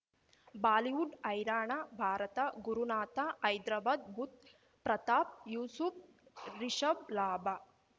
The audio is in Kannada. ಬಾಲಿವುಡ್ ಹೈರಾಣ ಭಾರತ ಗುರುನಾಥ ಹೈದ್ರಾಬಾದ್ ಬುಧ್ ಪ್ರತಾಪ್ ಯೂಸುಫ್ ರಿಷಬ್ ಲಾಭ